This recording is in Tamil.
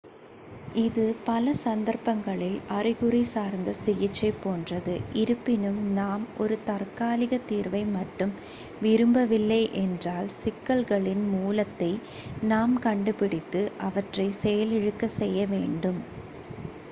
இது பல சந்தர்ப்பங்களில் அறிகுறி சார்ந்த சிகிச்சை போன்றது இருப்பினும் நாம் ஒரு தற்காலிகத் தீர்வை மட்டும் விரும்பவில்லை என்றால் சிக்கல்களின் மூலத்தை நாம் கண்டுபிடித்து அவற்றைச் செயலிழக்கச் செய்ய வேண்டும்